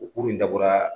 O kuru in dabɔra